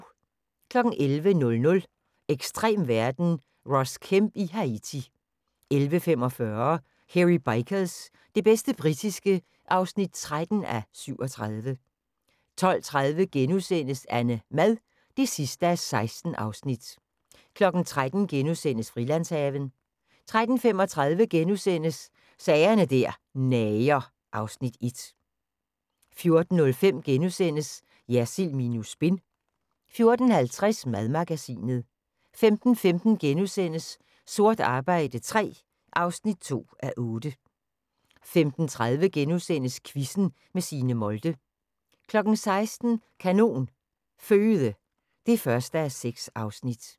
11:00: Ekstrem verden – Ross Kemp i Haiti 11:45: Hairy Bikers – det bedste britiske (13:37) 12:30: AnneMad (16:16)* 13:00: Frilandshaven * 13:35: Sager der nager (Afs. 1)* 14:05: Jersild minus spin * 14:50: Madmagasinet 15:15: Sort arbejde III (2:8)* 15:30: Quizzen med Signe Molde * 16:00: Kanon Føde (1:6)